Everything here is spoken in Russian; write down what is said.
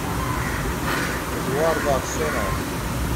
эдуарда аксенова